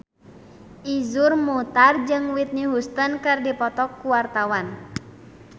Iszur Muchtar jeung Whitney Houston keur dipoto ku wartawan